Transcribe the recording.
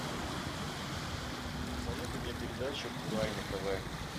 посоветуй мне передачу курай на тв